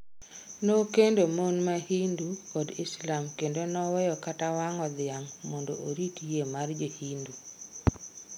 Nokendo mon ma Hindu kod Islam kendo noweyo kata wang'o dhiang' mondo orit yie mar Jo Hindu.